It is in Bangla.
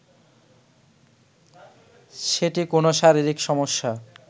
সেটি কোনো শরীরিক সমস্যা